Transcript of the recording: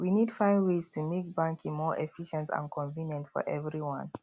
we need find ways to make banking more efficient and convenient for everyone